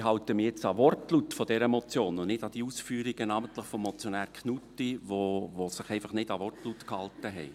Ich halte mich jetzt an den Wortlaut dieser Motion und nicht an die Ausführungen namentlich des Motionärs Knutti, der sich einfach nicht an den Wortlaut gehalten hat.